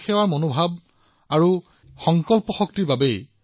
দেশৰ প্ৰতি সেৱাৰ অনুভূতি আছে আৰু ইয়াৰ আঁৰত ইচ্ছাশক্তি আছে